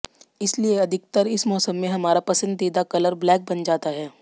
इसलिए अधिकतर इस मौसम में हमारा पसंदीदा कलर ब्लैक बन जाता है